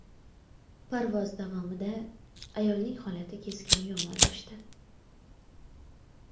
Parvoz davomida ayolning holati keskin yomonlashdi.